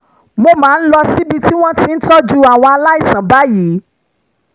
mo máa ń lọ síbi tí wọ́n ti ń tọ́jú àwọn aláìsàn báyìí